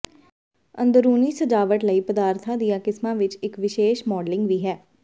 ਅੰਦਰੂਨੀ ਸਜਾਵਟ ਲਈ ਪਦਾਰਥਾਂ ਦੀਆਂ ਕਿਸਮਾਂ ਵਿਚ ਇਕ ਵਿਸ਼ੇਸ਼ ਮਾਡਲਿੰਗ ਵੀ ਹੈ